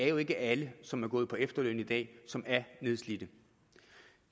jo ikke er alle som er gået på efterløn i dag som er nedslidt